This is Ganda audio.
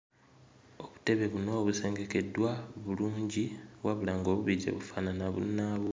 Obutebe buno busengekeddwa bulungi wabula ng'obubiri tebufaanana bunnaabwo.